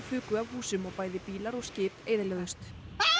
fuku af húsum og bæði bílar og skip eyðilögðust